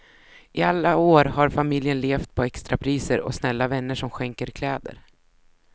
I alla år har familjen levt på extrapriser och snälla vänner som skänker kläder.